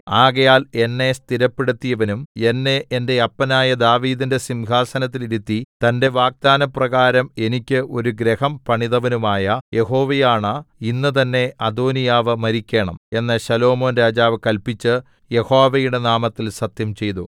ആകയാൽ എന്നെ സ്ഥിരപ്പെടുത്തിയവനും എന്നെ എന്റെ അപ്പനായ ദാവീദിന്റെ സിംഹാസനത്തിൽ ഇരുത്തി തന്റെ വാഗ്ദാനപ്രകാരം എനിക്ക് ഒരു ഗൃഹം പണിതവനുമായ യഹോവയാണ ഇന്ന് തന്നേ അദോനീയാവ് മരിക്കേണം എന്ന് ശലോമോൻ രാജാവ് കല്പിച്ച് യഹോവയുടെ നാമത്തിൽ സത്യംചെയ്തു